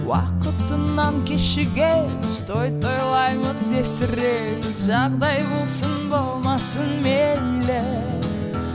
уақытынан кешігеміз той тойлаймыз есіреміз жағдай болсын болмасын мейлі